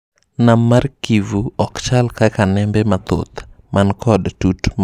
Nam mar Kivu okchal kaka nembe mathoth man kod tut mabor.